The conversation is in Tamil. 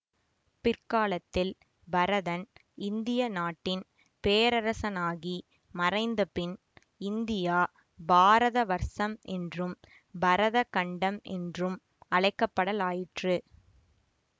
பிற்காலத்தில் பரதன் இந்திய நாட்டின் பேரரசனாகி மறைந்தபின் இந்தியா பாரத வர்சம் என்றும் பரதகண்டம் என்றும் அழைக்கப்படலாயிற்று